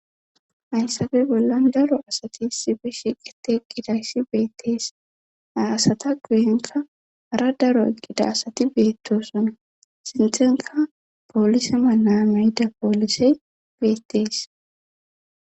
hayssabe bolla daro asati sibe shiqidi qqidayssi beettees aasata guyenka hara daro eqgida asati beettosuna sinthenka poolise manaameyida poolisey beettees